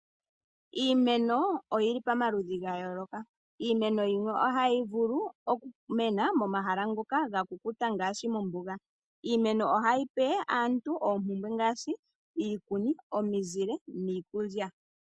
Iimeno oyili pa maludhi gayooloka, iimeno yimwe ohayi vulu oku mena momahala ngoka ga kukuta ngaashi mombuga. Iimeno oha yipe aantu oompumbwe ngaashi iikuni, omizile niikulya.